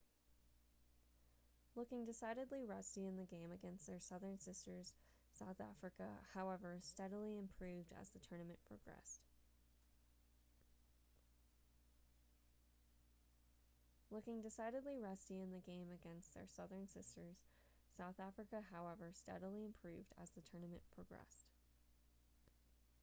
looking decidedly rusty in the game against their southern sisters south africa however steadily improved as the tournament progressed